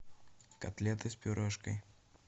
котлеты с пюрешкой